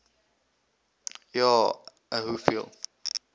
ja a hoeveel